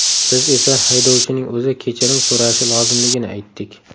Biz esa haydovchining o‘zi kechirim so‘rashi lozimligini aytdik.